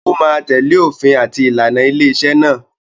ó ma tẹ̀lẹ́ òfin àti ìlànà ilé-iṣẹ́ náà.